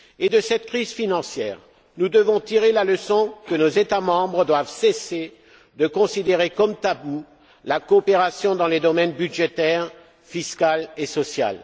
De cette crise financière, nous devons tirer la leçon que nos États membres doivent cesser de considérer comme taboue la coopération dans les domaines budgétaire, fiscal et social.